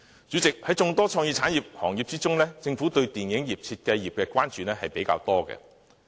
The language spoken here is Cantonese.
主席，在眾多創意產業行業中，政府對於電視業和設計業的關注比較多。